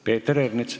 Peeter Ernits.